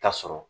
Ta sɔrɔ